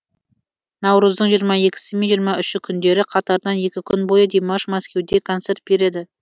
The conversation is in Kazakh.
наурыздың жиырма екісі мен жиырма үші күндері қатарынан екі күн бойы димаш мәскеуде концерт береді